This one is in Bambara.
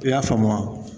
I y'a faamu wa